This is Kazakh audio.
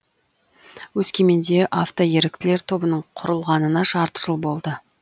өскеменде автоеріктілер тобының құрылғанына жарты жыл болды